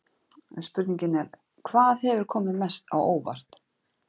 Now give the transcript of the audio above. Spurningin er: Hvað hefur komið mest á óvart?